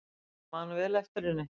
Ég man vel eftir henni.